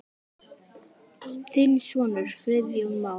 Þinn sonur, Friðjón Már.